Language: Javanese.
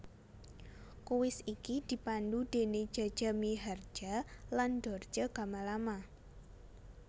Kuis iki dipandu déné Jaja Miharja lan Dorce Gamalama